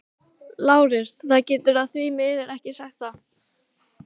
LÁRUS: Það get ég því miður ekki sagt þér.